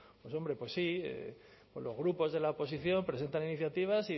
pues hombre pues sí pues los grupos de la oposición presentan iniciativas